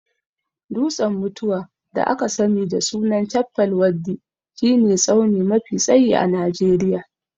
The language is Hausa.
Dutsen mutuwa (da aka sani da sunan Chappal waddi) shi ne tsauni mafi tsayi a Najeriya